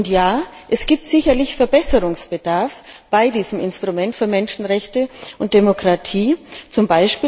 Ja, es gibt sicherlich Verbesserungsbedarf bei diesem Instrument für Menschenrechte und Demokratie, z.